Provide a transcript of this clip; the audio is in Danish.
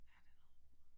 Ja det noget rod